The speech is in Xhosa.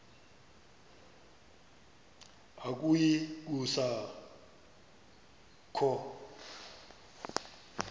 akuyi kusa kho